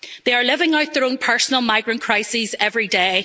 They are living out their own personal migrant crises every day.